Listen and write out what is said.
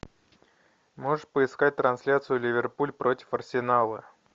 можешь поискать трансляцию ливерпуль против арсенала